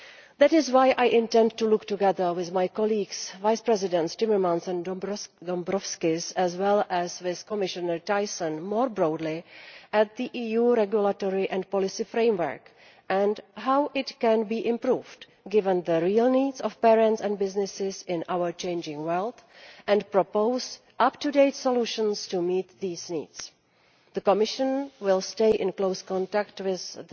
That is why I intend to look, together with my colleagues Vice Presidents Timmermans and Dombrovskis, as well as with Commissioner Thyssen, more broadly at the EU regulatory and policy framework and how it can be improved, given the real needs of parents and businesses in our changing world, and to propose up to date solutions to meet these needs. The Commission will stay in close contact with